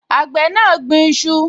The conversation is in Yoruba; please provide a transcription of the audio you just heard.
Àgbẹ̀ náà gbin iṣu